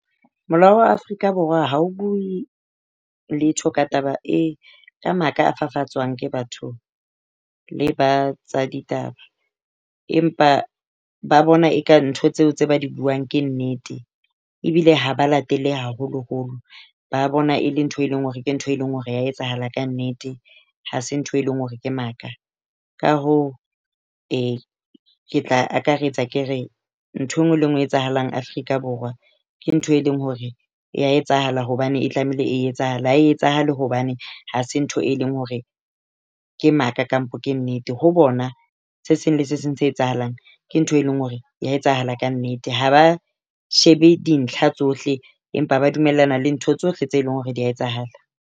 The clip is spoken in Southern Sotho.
Molao wa Afrika Borwa ha o bue letho ka taba e ka maka a fafatswang ke batho le ba tsa ditaba, empa ba bona e ka ntho tseo tse ba di buang ke nnete. Ebile ha ba latele haholoholo. Ba bona e le ntho e leng hore ke ntho e leng hore ha etsahala ka nnete, ha se ntho e leng hore ke maka. Ka hoo ke tla akaretsa ke re ntho e nngwe le e nngwe etsahalang Afrika Borwa ke ntho e leng hore ya etsahala hobane e tlamehile e etsahala. Ha e etsahale hobane ha se ntho e leng hore ke maka kampo ke nnete. Ho bona se seng le se seng se etsahalang ke ntho e leng hore e a etsahala ka nnete. Ha ba shebe dintlha tsohle, empa ba dumellana le ntho tsohle tse leng hore di a etsahala.